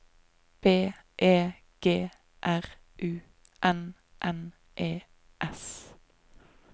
B E G R U N N E S